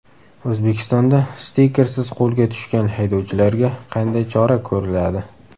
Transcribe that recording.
O‘zbekistonda stikersiz qo‘lga tushgan haydovchilarga qanday chora ko‘riladi?.